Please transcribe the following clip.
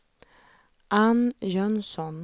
Ann Jönsson